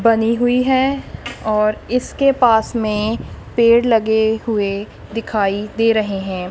बनी हुई है और इसके पास मे पेड़ लगे हुए दिखाई दे रहे हैं।